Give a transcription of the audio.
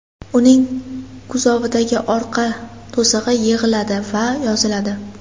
Uning kuzovidagi orqa to‘sig‘i yig‘iladi va yoziladi.